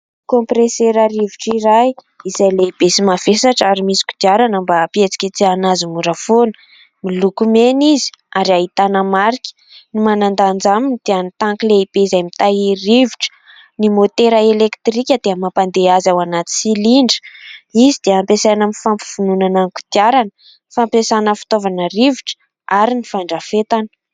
Kaompresera rivotra iray izay lehibe sy mavesatra ary misy kodiarana mba hampietsiketsehina azy mora foana, miloko meny izy ary ahitana marika, ny manandanja aminy dia ny tanky lehibe izay mitahiry rivotra ny motera elektrika dia mampandeha azy ao anaty silindra. Izy dia hampiasaina amin'ny fampiofanana kodiarana fampiasaina fitaovana rivotra ary ny fandrafetana.